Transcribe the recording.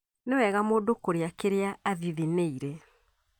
Nĩwega mũndũ kũrĩa kĩrĩa athithinĩire